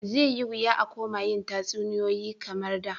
Zai yi wuya a koma yin tatsuniyoyi kamar da.